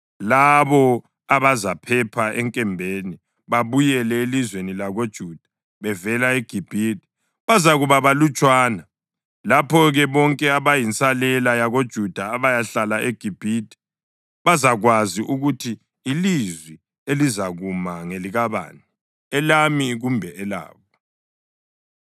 Labo abazaphepha enkembeni babuyele elizweni lakoJuda bevela eGibhithe bazakuba balutshwana. Lapho-ke bonke abayinsalela yakoJuda abayahlala eGibhithe bazakwazi ukuthi ilizwi elizakuma ngelikabani, elami kumbe elabo.